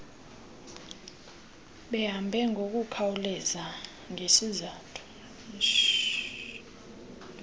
behambe ngokukhawuleza ngesizathu